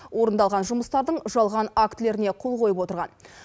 орындалған жұмыстардың жалған актілеріне қол қойып отырған